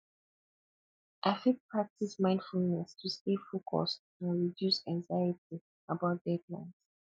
i fit practice mindfulness to stay focused and reduce anxiety about deadlines